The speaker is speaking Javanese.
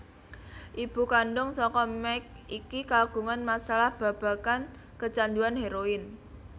Ibu kandhung saka Mike iki kagungan masalah babagan kecanduan hèroin